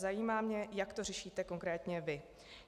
Zajímá mě, jak to řešíte konkrétně vy.